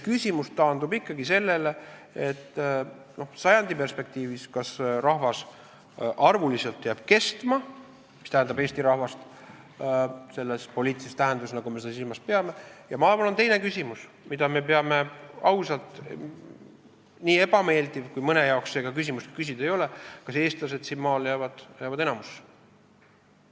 Küsimus taandub ikkagi sellele, et kas sajandi perspektiivis rahvas arvuliselt jääb kestma, st eesti rahvas selles poliitilises tähenduses, nagu me seda silmas peame, ja on teine küsimus, mida me peame ausalt küsima, nii ebameeldiv kui see ka mõne jaoks on, et kas eestlased siin maal jäävad enamusse.